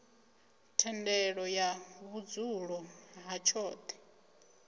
thendelo ya vhudzulo ha tshoṱhe